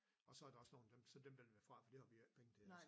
Og så der også nogen af dem så dem vælger vi fra for det har vi jo ikke penge til også